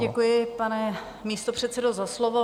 Děkuji, pane místopředsedo, za slovo.